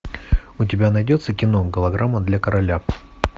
у тебя найдется кино голограмма для короля